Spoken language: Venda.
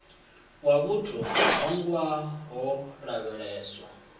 ya vhut hogwa ho lavheleswa